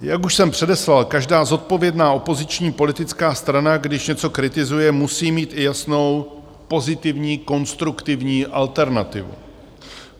Jak už jsem předeslal, každá zodpovědná opoziční politická strana, když něco kritizuje, musí mít i jasnou pozitivní, konstruktivní alternativu.